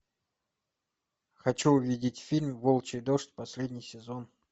хочу увидеть фильм волчий дождь последний сезон